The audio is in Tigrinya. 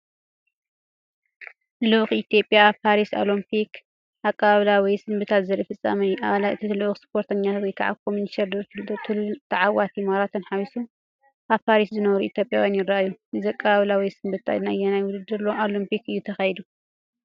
ልኡኽ ኢትዮጵያ ኣብ ፓሪስ ኦሎምፒክ (2024) ኣቀባብላ ወይ ስንብታ ዘርኢ ፍጻመ እዩ። ኣባላት እቲ ልኡኽ፣ ስፖርተኛታት (ኮሚሽነር ደርቱ ቱሉንን ተዓወቲ ማራቶንን ሓዊሱ)፣ኣብ ፓሪስ ዝነብሩ ኢትዮጵያውያን ይረኣዩ። እዚ ኣቀባብላ ወይ ስንብታ ንኣየናይ ውድድር ኦሎምፒክ እዩ ተኻይዱ?